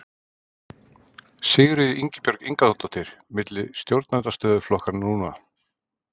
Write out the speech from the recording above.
Sigríður Ingibjörg Ingadóttir: Milli stjórnarandstöðuflokkanna núna?